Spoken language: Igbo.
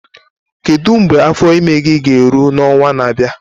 Kedu mgbe afọ ime gị ga-eru n'ọnwa na-abịa?